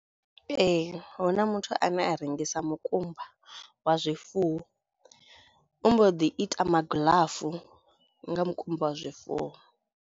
Ee, huna muthu ane a rengisa mukumba wa zwifuwo u mbo ḓi ita magiḽafu nga mukumba wa zwifuwo.